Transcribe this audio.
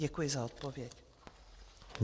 Děkuji za odpověď.